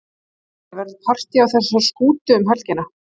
Ásgeir, verður partý á þessari skútu um helgina?